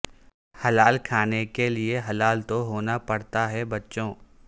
حلال کھانے کے لیے حلال تو ہونا پڑتا ہے بچو